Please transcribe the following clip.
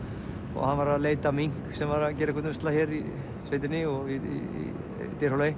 og hann var að leita að mink sem var að gera einhvern usla hér í sveitinni í Dyrhólaey